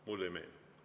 Mulle ei meenu.